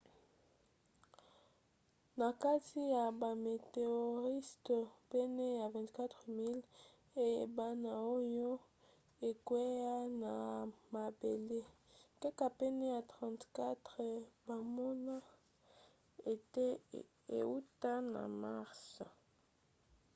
na kati ya bameteoriste pene ya 24 000 eyebana oyo ekwea na mabele kaka pene ya 34 bamona ete euta na mars